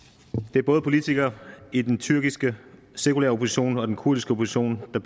det er både politikere i den tyrkiske sekulære opposition og den kurdiske opposition der